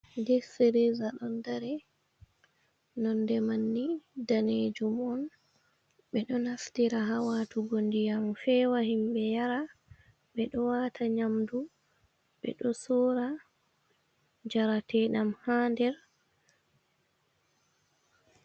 Dip firiza ɗon dari, nonde manni daneejum on, ɓe ɗo naftira ha watugo ndiyam feewa himɓe yara, ɓe ɗo waata nyamdu, ɓe ɗo sora njarateɗam ha nder.